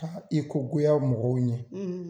Ka i ko goya mɔgɔw ɲɛ